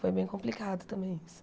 Foi bem complicado também isso.